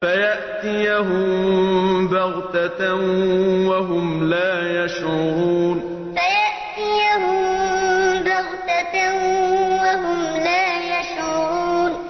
فَيَأْتِيَهُم بَغْتَةً وَهُمْ لَا يَشْعُرُونَ فَيَأْتِيَهُم بَغْتَةً وَهُمْ لَا يَشْعُرُونَ